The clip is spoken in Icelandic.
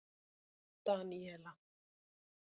Daníela